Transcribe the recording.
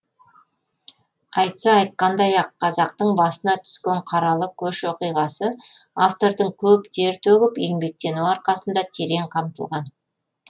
айтса айтқандай ақ қазақтың басына түскен қаралы көш оқиғасы автордың көп тер төгіп еңбектенуі арқасында терең қамтылған